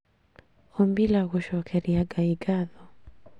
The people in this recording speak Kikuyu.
Ombila gũcokeria Ngai ngatho